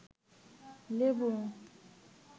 লেবু